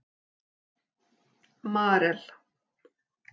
Marel